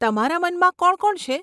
તમારા મનમાં કોણ કોણ છે?